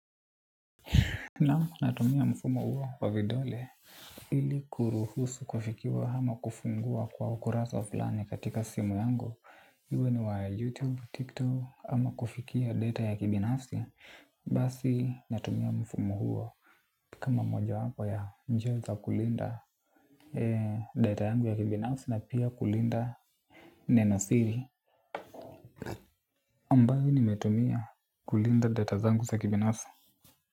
Nao natumia mfumo huo wa vidole ili kuruhusu kufikiwa ama kufungua kwa ukurasa fulani katika simu yangu. Uwe ni wa youtube, tiktok, ama kufikia data ya kibinafsi basi natumia mfumo huo. Kama moja wapo ya njia za kulinda data yangu ya kibinafsi na pia kulinda neno siri ambayo nimetumia kulinda data zangu za kibinafsi.